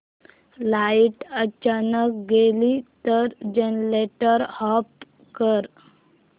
light अचानक गेली तर जनरेटर ऑफ कर